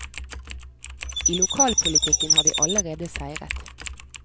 I lokalpolitikken har de allerede seiret.